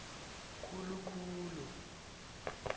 khulu khulu